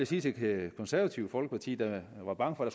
sige til det konservative folkeparti der var bange for at